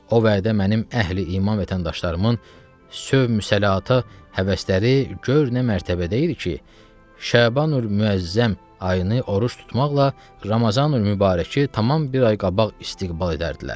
O vədə mənim əhli-iman vətəndaşlarımın sövq-müsəlaatə həvəsləri gör nə mərtəbədə idi ki, Şabanül Müəzzəm ayını oruc tutmaqla Ramazanül Mübarəki tamam bir ay qabaq istiqbal edərdilər.